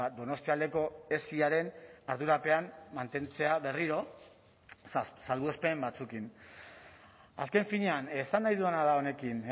donostialdeko esiaren ardurapean mantentzea berriro salbuespen batzuekin azken finean esan nahi dudana da honekin